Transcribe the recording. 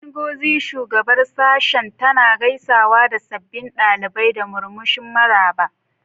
Ngozi, shugabar Sashen, tana gaisawa da sabbin ɗalibai da murmushin maraba.